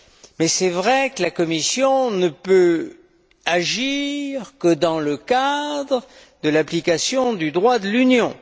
Mais il est vrai que la Commission ne peut agir que dans le cadre de l'application du droit de l'Union.